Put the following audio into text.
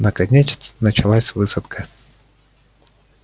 наконец началась высадка